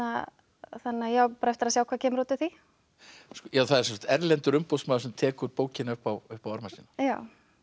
að ég á bara eftir að sjá hvað kemur út úr því það er sem sagt erlendur umboðsmaður sem tekur bókina upp á upp á arma sína já